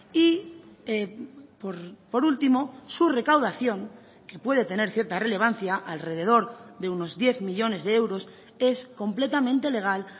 y por último su recaudación que puede tener cierta relevancia alrededor de unos diez millónes de euros es completamente legal